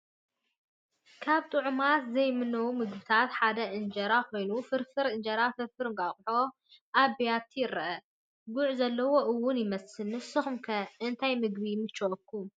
ካብ ጥዑማት ዘይምነውን ምግብታት ሓደ እንጀራ ኮይኑ ፍርፍር እንጀራን ፍርፍር እንቋቑሖን ኣብ ብያቲ ይረአ፡፡ ጉዕ ዘለዎ ውን ይመስል፡፡ ንስኹም ከ እንታይ ምግቢ ይምችዎኩም?